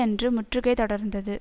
அன்று முற்றுகை தொடர்ந்தது